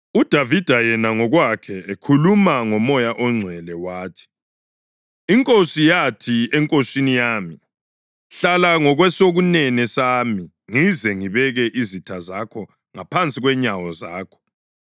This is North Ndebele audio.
UDavida yena ngokwakhe ekhuluma ngoMoya oNgcwele wathi: ‘INkosi yathi eNkosini yami: “Hlala ngakwesokunene sami ngize ngibeke izitha zakho ngaphansi kwenyawo zakho.” + 12.36 AmaHubo 110.1 ’